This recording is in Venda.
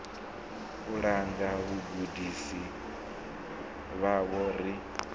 u langa vhagudisi vhavho ri